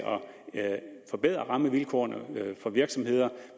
forbedre rammevilkårene for virksomheder